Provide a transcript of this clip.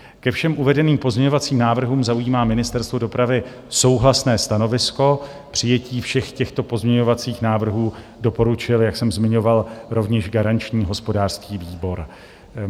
Ke všem uvedeným pozměňovacím návrhům zaujímá Ministerstvo dopravy souhlasné stanovisko, přijetí všech těchto pozměňovacích návrhů doporučil, jak jsem zmiňoval, rovněž garanční hospodářský výbor.